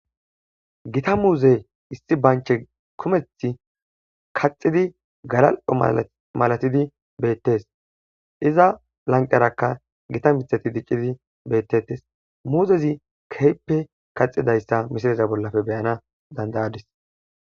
Giththa muzze issi banche kumeththi kaxiddi galalo malathidi bettes izarakka lanqera dic'izi bettes mezettikka keehippe ka'idaysa besidayssakko misile bollan be'anas danida'adis.